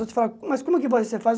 Vou te falar, mas como que você faz?